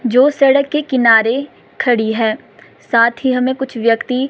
जो सड़क के किनारे खड़ी है साथ ही हमें कुछ व्यक्ति--